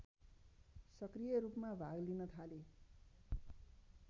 सक्रियरूपमा भाग लिन थाले